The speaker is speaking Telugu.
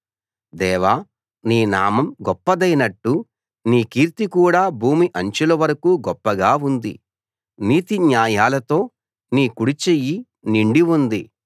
దేవా నీ నామం గొప్పదైనట్టు నీ కీర్తి కూడా భూమి అంచులవరకూ గొప్పగా ఉంది నీతి న్యాయాలతో నీ కుడిచెయ్యి నిండి ఉంది